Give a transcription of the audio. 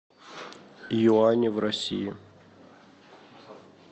юани в россии